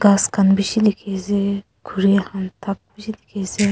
ghas khan bishi likhiase khuri han thak bish dikhi ase.